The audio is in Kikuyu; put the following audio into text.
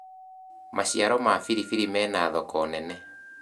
maciaro ma biribiri mena thoko nene